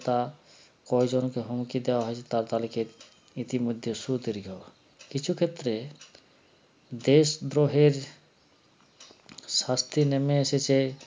তা কয়জনকে হুমকি দেওয়া হয়েছে তা তালিকের ইতিমধ্যে শুধরিগবা কিছু ক্ষেত্রে দেশদ্রোহের শাস্তি নেমে এসেছে